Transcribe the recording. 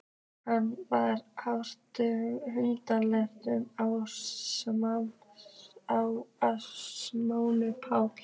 Hann var hundleiður á að sauma Pál.